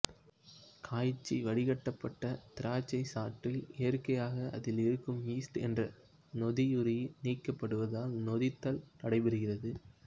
காய்ச்சி வடிக்கப்பட்ட திராட்சைச்சாற்றில் இயற்கையாக அதில் இருக்கும் ஈஸ்டு என்ற நொதியுயிரி நீக்கப்படுவதால் நொதித்தல் நடைபெறாது